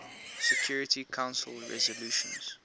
security council resolutions